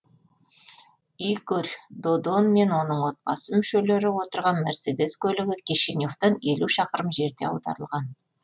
игорь додон мен оның отбасы мүшелері отырған мерседес көлігі кишиневтен елу шақырым жерде аударылған